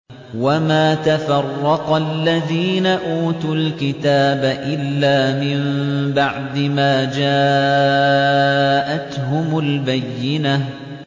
وَمَا تَفَرَّقَ الَّذِينَ أُوتُوا الْكِتَابَ إِلَّا مِن بَعْدِ مَا جَاءَتْهُمُ الْبَيِّنَةُ